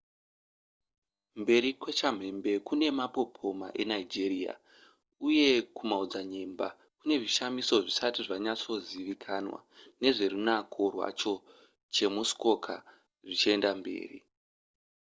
mberi kwechamhembe kune mapopoma eniagra uye kumaodzanyemba kune zvishamiso zvisati zvanyatsozivikanwa nezverunako rwacho chemuskoka zvichienda mberi